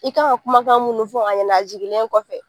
I kan ka kumakan munun fɔ a ɲɛnɛ, a jigilen kɔfɛ.